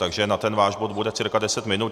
Takže na ten váš bod bude cca 10 minut.